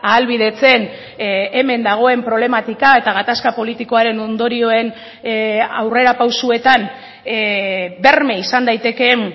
ahalbidetzen hemen dagoen problematika eta gatazka politikoaren ondorioen aurrerapausoetan berme izan daitekeen